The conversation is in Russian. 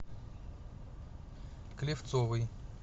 клевцовой